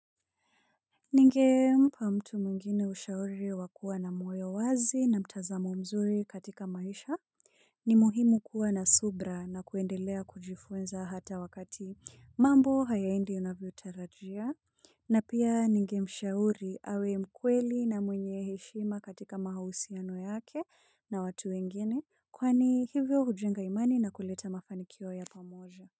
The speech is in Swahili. Ningempa mtu mwingine ushauri wakua na moyo wazi na mtazamo mzuri katika maisha. Ni muhimu kuwa na subra na kuendelea kujifunza hata wakati mambo hayaendi unavyo tarajia. Na pia ningemshauri awe mkweli na mwenye heshima katika mahusiano yake na watu wengine kwani hivyo hujiunga imani na kuleta mafanikio ya pamoja.